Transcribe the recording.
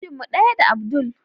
Ajin mu daya da abdul.